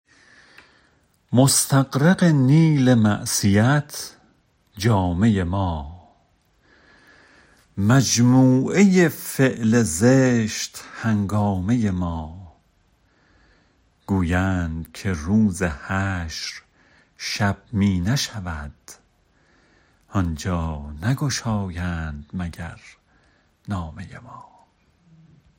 مستغرق نیل معصیت جامه ما مجموعه فعل زشت هنگامه ما گویند که روز حشر شب می نشود آنجا نگشایند مگر نامه ما